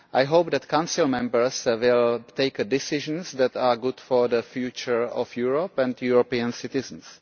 I hope that the Council members will take decisions that are good for the future of Europe and European citizens.